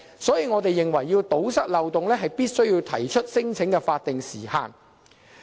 所以，我們認為，如果要堵塞漏洞，必須要規定提出聲請的法定時限。